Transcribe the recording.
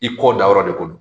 I kɔ da yɔrɔ de ko don.